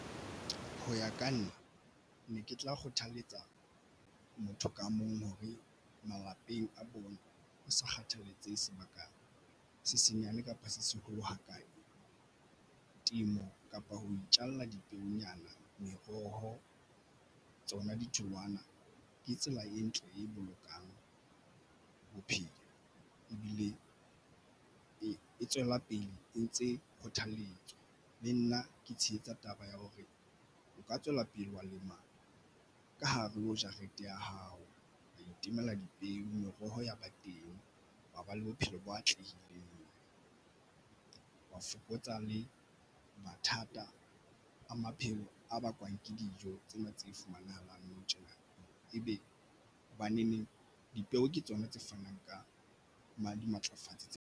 Ho ya ka nna ne ke tla kgothaletsa motho ka mong hore malapeng a bona ho sa kgathaletsehe sebaka se senyane kapa se seholo ha kae, temo kapa ho itjalla dipeonyana meroho tsona ditholwana ke tsela e ntle e bolokang bophelo ebile e tswela pele e ntse kgothalletswa. Le nna ke tshehetsa taba ya hore o ka tswela pele wa lema ka hare ho jarete ya hao wa itemela dipeo. Meroho ya ba teng wa ba le bophelo bo atlehileng ho fokotsa le mathata a maphelo a bakwang ke dijo tsena tse fumanahalang nou tjena ebe hobaneneng dipeo ke tsona tse fanang ka ba dimatlafatsi tse ngata.